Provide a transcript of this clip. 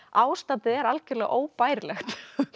ástandið er algjörlega óbærilegt